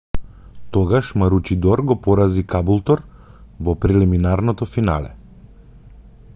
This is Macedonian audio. тогаш маручидор го порази кабултур во прелиминарното финале